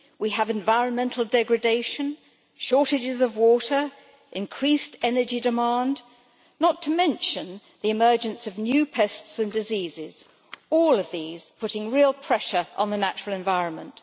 we have environmental degradation, shortages of water and increased energy demand, not to mention the emergence of new pests and diseases all of which are putting real pressure on the natural environment.